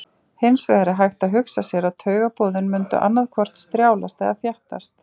Hins vegar er hægt að hugsa sér að taugaboðin mundu annaðhvort strjálast eða þéttast.